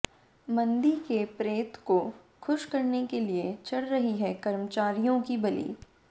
मंदी के प्रेत को खुश करने के लिए चढ़ रही है कर्मचारियों की बलि